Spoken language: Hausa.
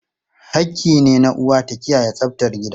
Hakki ne na uwa ta kiyaye tsaftar gida.